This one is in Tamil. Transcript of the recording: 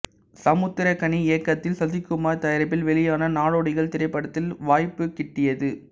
சமுத்திரக்கனி இயக்கத்தில் சசிக்குமார் தயாரிப்பில் வெளியான நாடோடிகள் திரைப்படத்தில் வாய்ப்புகிட்டியது